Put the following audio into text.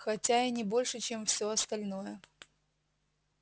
хотя и не больше чем все остальное